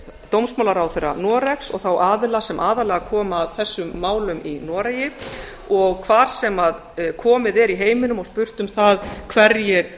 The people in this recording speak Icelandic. dómsmálaráðherra noregs og þá aðila sem aðallega koma að þessum málum í noregi og hvar sem komið er í heiminum og spurt um það hverjir